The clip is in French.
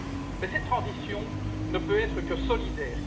Mais cette transition ne peut être que solidaire.